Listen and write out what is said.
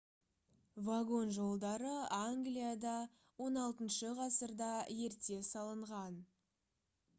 вагон жолдары англияда xvi ғасырда ерте салынған